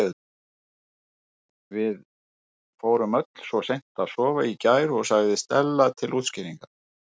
Við fórum öll svo seint að sofa í gær- sagði Stella til útskýringar.